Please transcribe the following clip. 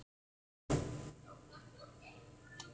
Nei, ekki þú.